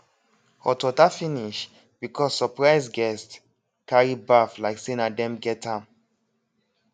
hot water finish because surprise guests carry baff like say na them get am